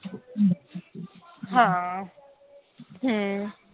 ਹਾਂ ਹੂ